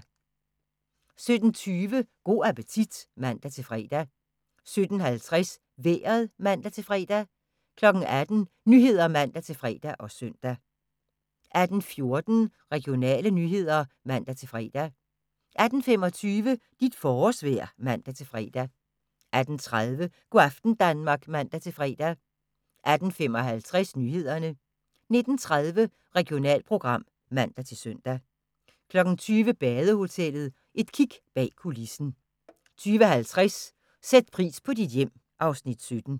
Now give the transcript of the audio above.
17:20: Go' appetit (man-fre) 17:50: Vejret (man-fre) 18:00: Nyhederne (man-fre og søn) 18:14: Regionale nyheder (man-fre) 18:25: Dit forårsvejr (man-fre) 18:30: Go' aften Danmark (man-fre) 18:55: Nyhederne 19:30: Regionalprogram (man-søn) 20:00: Badehotellet – et kig bag kulissen 20:50: Sæt pris på dit hjem (Afs. 17)